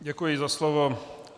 Děkuji za slovo.